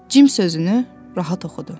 Cim sözünü rahat oxudu.